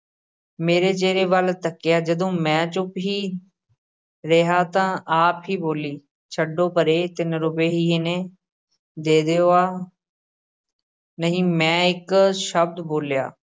ਮੇਰੇ ਚਿਹਰੇ ਵੱਲ ਤੱਕਿਆ, ਜਦੋਂ ਮੈਂ ਚੁੱਪ ਹੀ ਰਿਹਾ ਤਾਂ ਆਪ ਹੀ ਬੋਲੀ, ਛੱਡੋ ਪਰੇ ਤਿੰਨ ਰੁਪਏ ਹੀ ਨੇ, ਦੇ ਦਿਓ ਆਹ ਨਹੀਂ ਮੈਂ ਇੱਕ ਸ਼ਬਦ ਬੋਲਿਆ।